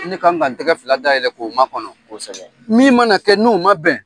Ne kan ka n tɛgɛ fila dayɛlɛn k'o makɔnɔ min mana kɛ n'o ma bɛn